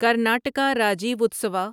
Karnataka Rajyotsava